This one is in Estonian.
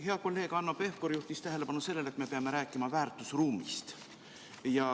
Hea kolleeg Hanno Pevkur juhtis tähelepanu sellele, et me peame rääkima väärtusruumist.